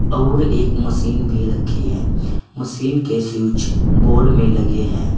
और एक मशीन भी रखी है मशीन के स्विच बोर्ड में लगे हैं।